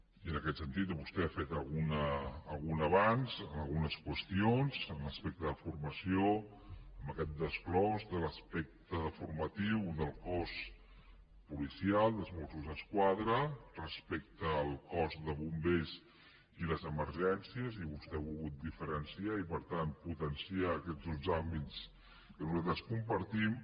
i en aquest sentit vostè ha fet algun avanç algunes qüestions en l’aspecte de formació amb aquest desglossament de l’aspecte formatiu del cos policial dels mossos d’esquadra respecte al cos de bombers i les emergències i vostè ho ha volgut diferenciar i per tant potenciar aquests dos àmbits que nosaltres compartim